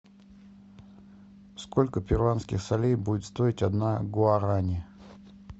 сколько перуанских солей будет стоить одна гуарани